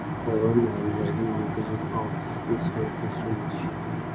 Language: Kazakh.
оған әзірге екі жүз алпыс бес оқушы мүше